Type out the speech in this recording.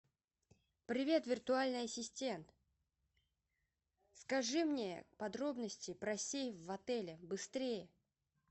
привет виртуальный ассистент скажи мне подробности про сейф в отеле быстрее